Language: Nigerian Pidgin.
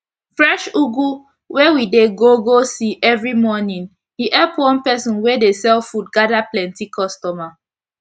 fresh ugu wey we dey go go see everi morning e epp one person wey dey sell food gada plenti customer